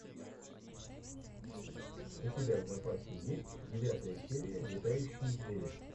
у тебя в запасе есть девятая серия летающие звери